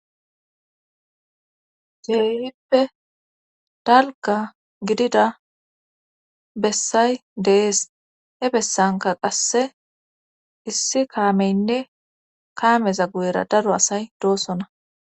Geeyippe dalga gidida bessay deees he bessanka qasse issi kaameynne kaameza guyera daro asay doosona